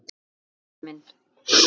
Elsku Bjössi minn.